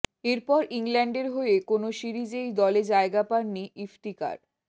এরপর ইংল্যান্ডের হয়ে কোনও সিরিজেই দলে জয়গা পাননি ইফতিকার